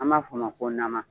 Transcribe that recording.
An b'a fɔ o ma ko nama